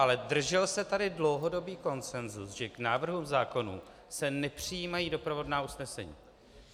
Ale držel se tady dlouhodobý konsenzus, že k návrhům zákonů se nepřijímají doprovodná usnesení.